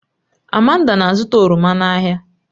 Amanda na-azụta oroma n'ahịa